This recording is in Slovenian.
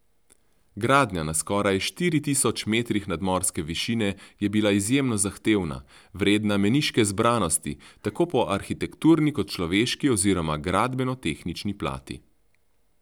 Gradnja na skoraj štiri tisoč metrih nadmorske višine je bila izjemno zahtevna, vredna meniške zbranosti, tako po arhitekturni kot človeški oziroma gradbenotehnični plati.